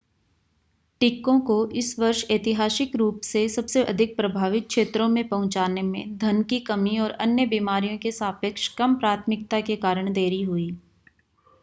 टीकों को इस वर्ष ऐतिहासिक रूप से सबसे अधिक प्रभावित क्षेत्रों में पहुंचाने में धन की कमी और अन्य बीमारियों के सापेक्ष कम प्राथमिकता के कारण देरी हुई